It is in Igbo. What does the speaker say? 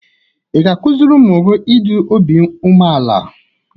Ị ga-akụziri ụmụ gị ịdị obi umeala?